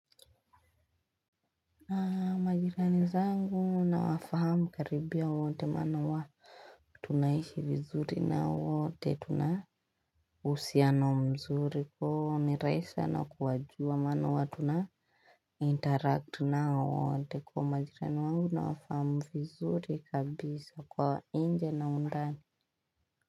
Majirani zangu na wafahamu karibia wote mana wa tunaishi vizuri na wote tuna uhusiano mzuri kwo ni rahisi sana kuwajua mana huwa tuna interact nao wote kwa majirani wangu nawafahamu vizuri kabisa kwa inje na undani.